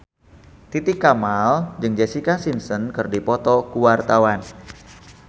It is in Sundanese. Titi Kamal jeung Jessica Simpson keur dipoto ku wartawan